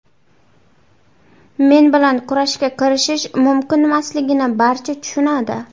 Men bilan kurashga kirishish mumkinmasligini barcha tushunadi.